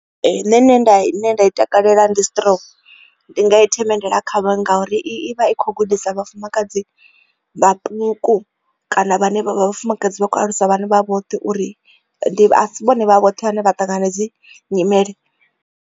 Nṋe nṋe nda ine nda i takalela ndi strong ndi nga i themendela kha vha ngauri i vha i kho gudisa vhafumakadzi vhaṱuku kana vhane vha vhafumakadzi vha kho alusa vhana vha vhoṱhe uri a si vhone vha vhoṱhe vhane vha ṱangana na hedzi nyimele.